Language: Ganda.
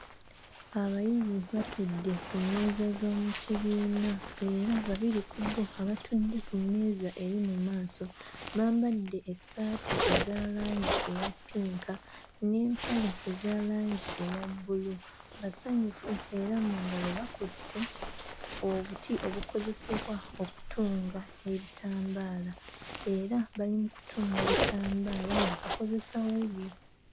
Abayizi batudde ku mmeeza z'omu kibiina era babiri ku bo abatudde ku mmeeza eri mu maaso bambadde essaati eza langi eya ppinka n'empale eza langi eya bbulu basanyufu era mu ngalo bakutte obuti obukozesebwa okutunga ebitambaala era bali mu kutunga bitambaala nga bakozesa wuzi.